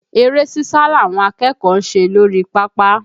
Eré sísa làwọn akẹ́kọ̀ọ́ ń ṣe lórí pápá